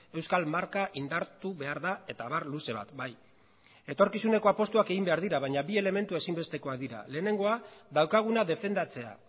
euskal marka indartu behar da eta abar luze bat bai etorkizuneko apustuak egin behar dira baina bi elementu ezinbestekoak dira lehenengoa daukaguna defendatzea